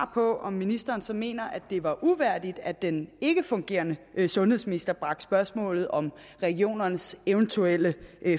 på om ministeren så mener at det var uværdigt at den ikkefungerende sundhedsminister bragte spørgsmålet om regionernes eventuelle